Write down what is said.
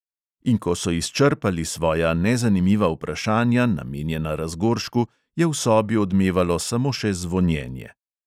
In ko so izčrpali svoja nezanimiva vprašanja, namenjena razgoršku, je v sobi odmevalo samo še zvonjenje.